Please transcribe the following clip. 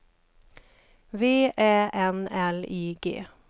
V Ä N L I G